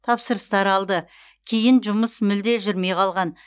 тапсырыстар алды кейін жұмыс мүлде жүрмей қалған